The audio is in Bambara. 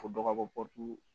Fo dɔgɔbɔ